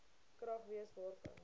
krag wees wanneer